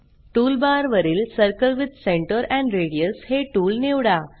टूलबारवरील circle with centre and radius हे tool निवडा